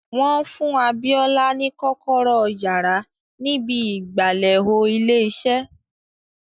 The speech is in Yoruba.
Wọ́n fún Abíọ́lá ní kọ́kọ́rọ́ yàrá ni ibi ìgbàlè ò ilé iṣẹ́